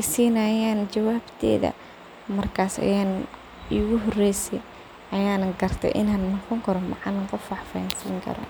isinayan jawabta marka ayan garte in an noqoni karo macalin wax fshansini karo.